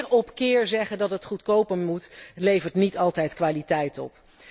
Keer op keer zeggen dat het goedkoper moet, levert niet altijd kwaliteit